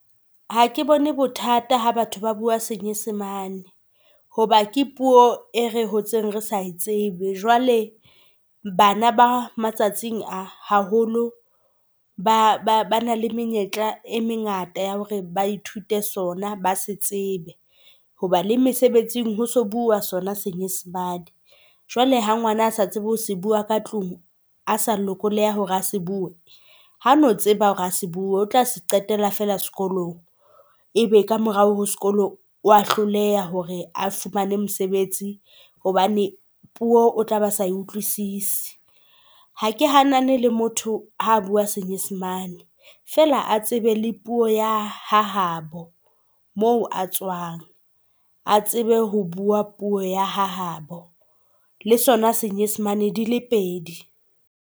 Ha ke bone bothata ha batho ba bua Senyesemane hoba ke puo e re hotseng re sa e tsebe. Jwale bana ba matsatsing a haholo ba na le menyetla e mengata ya hore ba ithute sona, ba se tsebe. Hoba le mesebetsing ho se bua sona senyesemane. Jwale ha ngwana a sa tsebe ho se bua ka tlung, a se lokolohe hore ha se bue, ha no tseba hore a se bue o tla se qetela fela sekolong. E be ka morao ho sekolo wa hloleha hore a fumane mosebetsi hobane puo o tla ba sa utlwisise. Ha ke hanane le motho ha bua senyesemane fela a tsebe le puo ya ha habo, moo a tswang a tsebe ho bua puo ya hahabo le sona senyesemane dile pedi.